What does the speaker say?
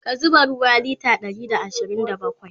ka zuba ruwa litre Ɗari da ashirin da bakwai!